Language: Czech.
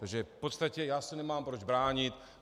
Takže v podstatě já se nemám proč bránit.